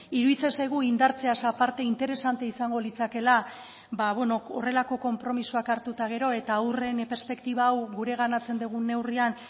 iruditzen zaigu indartzeaz aparte interesantea izango litzakeela ba beno horrelako konpromisoak hartu eta gero eta haurren perspektiba hau gureganatzen dugun neurrian